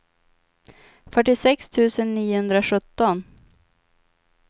fyrtiosex tusen niohundrasjutton